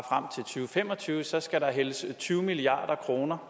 fem og tyve samlet set skal hældes tyve milliard kroner